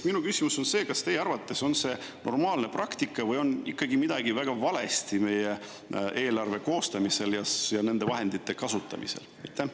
Minu küsimus on see: kas teie arvates on see normaalne praktika või on ikkagi midagi väga valesti meie eelarve koostamisel ja nende vahendite kasutamisel?